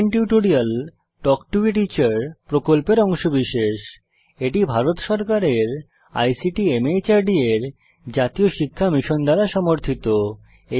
spoken tutorial talk to a teacher প্রকল্পের অংশবিশেষ এটি ভারত সরকারের আইসিটি মাহর্দ এর জাতীয় সাক্ষরতা মিশন দ্বারা সমর্থিত